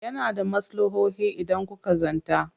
Yana da maslahohin idan kuka zanta.